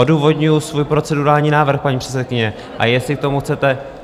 Odůvodňuji svůj procedurální návrh, paní předsedkyně, a jestli k tomu chcete...